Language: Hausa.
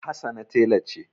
Hassana tela ce.